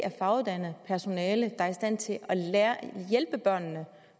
faguddannet personale der er i stand til